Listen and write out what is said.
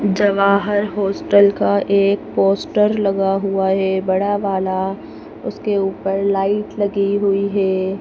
Jawahar hostel का एक poster लगा हुआ है बड़ा वाला उसके ऊपर लाइट लगी हुई है।